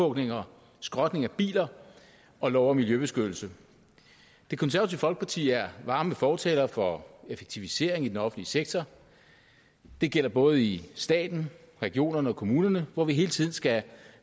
og skrotning af biler og lov om miljøbeskyttelse det konservative folkeparti er varme fortalere for effektivisering i den offentlige sektor det gælder både i staten regionerne og kommunerne hvor vi hele tiden skal